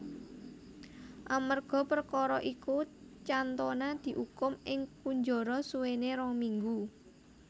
Amerga perkara iku Cantona diukum ing kunjara suwene rong minggu